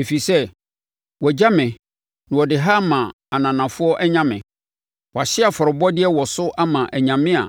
Ɛfiri sɛ, wɔagya me na wɔde ha ama ananafoɔ anyame; wɔahye afɔrebɔdeɛ wɔ so ama anyame a